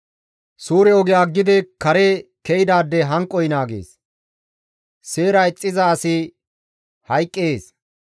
Suure oge aggidi kare ke7idaade hanqoy naagees; seera ixxiza asi hayqqees.